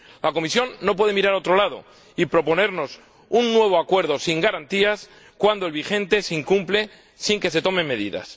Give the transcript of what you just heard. La Comisión no puede mirar a otro lado y proponernos un nuevo acuerdo sin garantías cuando el vigente se incumple sin que se tomen medidas.